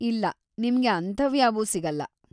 ಇಲ್ಲ, ನಿಮ್ಗೆ ಅಂಥವ್ಯಾವೂ ಸಿಗಲ್ಲ.